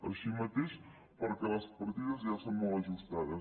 així mateix perquè les partides ja són molt ajustades